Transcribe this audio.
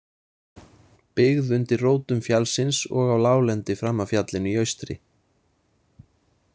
Byggð undir rótum fjallsins og á láglendi fram af fjallinu í austri.